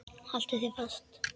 Haltu þér fast.